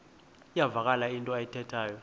iyavakala into ayithethayo